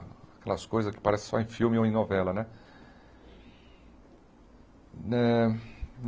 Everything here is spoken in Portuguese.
Aquelas coisas que aparecem só em filme ou em novela, né? Eh